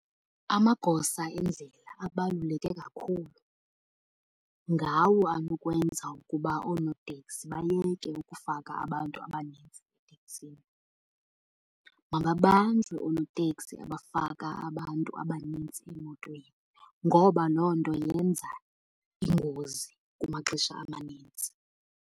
Amagosa endlela abaluleke kakhulu. Ngawo anokwenza ukuba oonoteksi bayeke ukufaka abantu abanintsi eteksini. Mababanjwe oonoteksi abafaka abantu abanintsi emotweni, ngoba loo nto yenza iingozi kumaxesha amanintsi.